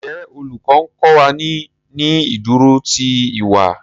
Njé Olùkó nkó wá ní ní ìdúró tí ìwà?